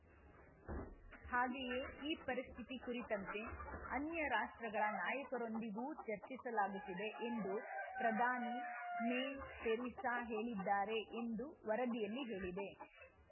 ಹಾಗೆಯೇ ಈ ಪರಿಸ್ಥಿತಿ ಕುರಿತಂತೆ ಅನ್ಯ ರಾಷ್ಟ್ರಗಳ ನಾಯಕರೊಂದಿಗೂ ಚರ್ಚಿಸಲಾಗುತ್ತಿದೆ ಎಂದು ಪ್ರಧಾನಿ ಮೇ ತೆರೇಸಾ ಹೇಳಿದ್ದಾರೆ ಎಂದು ವರದಿಯಲ್ಲಿ ಹೇಳಿದೆ